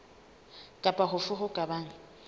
kapa hofe ho ka bang